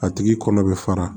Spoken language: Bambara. A tigi kɔnɔ bɛ fara